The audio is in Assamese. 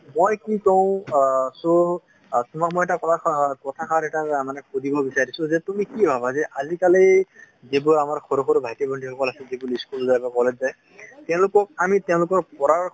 মই কি কওঁ অ so অ তোমাক মই এটা কথাষাৰ এটা মানে সুধিব বিচাৰিছোঁ যে তুমি কি ভাবা যে আজিকালি যিবোৰ আমাৰ সৰু সৰু ভাইটি ভন্টি সকল আছে , যিবোৰ school যায় বা college যায় তেওঁলোকক আমি তেওঁলোকৰ পঢ়াৰ,